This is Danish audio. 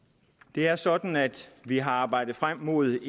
det er sådan at vi har arbejdet frem mod